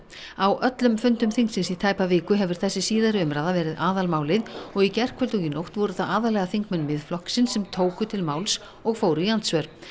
á öllum fundum þingsins í tæpa viku hefur þessi síðari umræða verið aðalmálið og í gærkvöld og í nótt voru það aðallega þingmenn Miðflokksins sem tóku til máls og fóru í andsvör